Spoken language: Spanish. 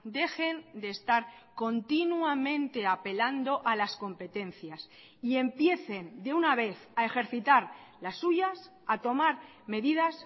dejen de estar continuamente apelando a las competencias y empiecen de una vez a ejercitar las suyas a tomar medidas